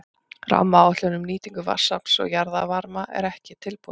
Rammaáætlun um nýtingu vatnsafls og jarðvarma er ekki tilbúin.